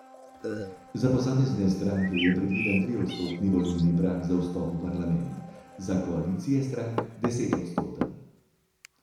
Za posamezne stranke je predviden triodstotni volilni prag za vstop v parlament, za koalicije strank desetodstoten.